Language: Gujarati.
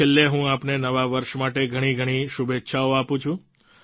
છેલ્લે હું આપને નવા વર્ષ માટે ઘણી ઘણી શુભેચ્છાઓ આપું છું